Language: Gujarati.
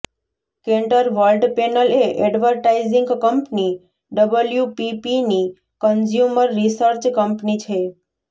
કેન્ટર વર્લ્ડપેનલ એ એડ્વર્ટાઇઝિંગ કંપની ડબલ્યુપીપીની કન્ઝ્યુમર રિસર્ચ કંપની છે